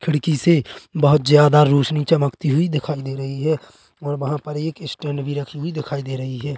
खिड़की से बहोत ज्यादा रोशनी चमक्ती हुई देखाई दे रही है और वहाँ पर एक स्टैंड भी रखी हुए देखाई रे रही है।